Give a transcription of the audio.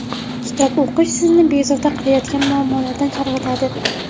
Kitob o‘qish sizni bezovta qilayotgan muammolardan chalg‘itadi.